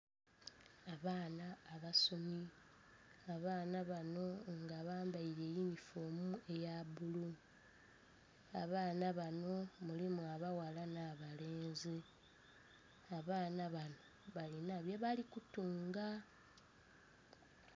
Abaana abasomi abaana bano nga bambaire eyunifoomu eya bbulu, abaana bano mulimu abaghala na'balenzi, abaana bano balina bye bali kutunga.